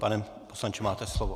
Pane poslanče, máte slovo.